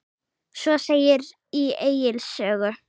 Svo segir í Egils sögu